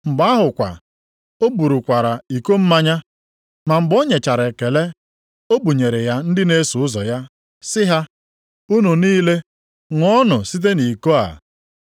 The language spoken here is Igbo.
Mgbe ahụ kwa, o burukwara iko mmanya, ma mgbe o nyechara ekele, o bunyere ya ndị na-eso ụzọ ya sị ha, “Unu niile ṅụọnụ site nʼiko a.